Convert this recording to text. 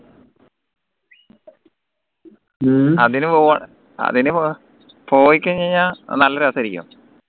അതിന് അതിന് പോയിക്കഴിഞ്ഞുകഴിഞ്ഞ നല്ല രസയിരിക്കും